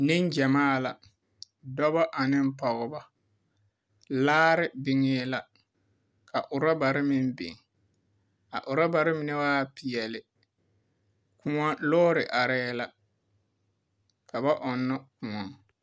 Neŋgyamaa la. Dɔbɔ aneŋ pɔgebɔ. Laare biŋee la. Ka orɔbare meŋ biŋ. A orɔbare mine waa peɛle. Kõɔ lɔɔre arɛɛ la. Ka ba ɔnnɔ kõɔ.